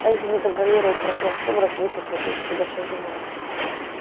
а если не контролировать процесс сумрак высосет из тебя всё живое